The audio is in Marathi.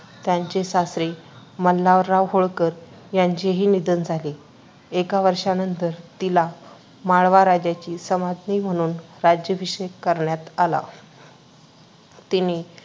त्यांचे सासरे मल्हारराव होळकर यांचेही निधन झाले. एका वर्षानंतर, तिला माळवा राज्याची सम्राज्ञी म्हणून राज्याभिषेक करण्यात आला. तिने